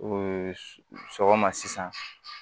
sɔgɔma sisan